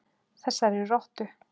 Þessari rottu.